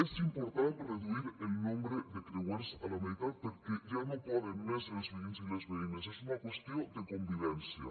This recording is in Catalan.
és important reduir el nombre de creuers a la meitat perquè ja no poden més els veïns i les veïnes és una qüestió de convivència